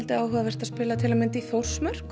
áhugavert að spila úti í Þórsmörk